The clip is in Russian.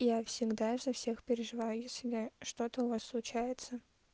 я всегда за всех переживаю если да что-то у вас случается